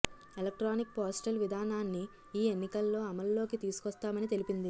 electronic postal విధానాన్ని ఈ ఎన్నికల్లో అమల్లోకి తీసుకొస్తామని తెలిపింది